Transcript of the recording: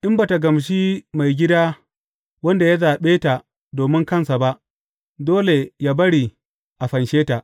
In ba tă gamshi maigida wanda ya zaɓe ta domin kansa ba, dole yă bari a fanshe ta.